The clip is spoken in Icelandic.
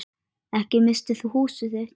Ekki missir þú húsið þitt.